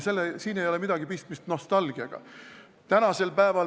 Siin ei ole midagi pistmist nostalgiaga.